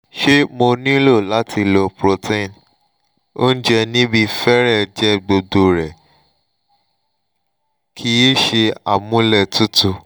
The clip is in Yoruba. ṣé mo nílò láti lo protein oúnjẹ níbí fẹ́rẹ̀ẹ́ jẹ́ gbogbo rẹ̀ kì í ṣe amúlétutù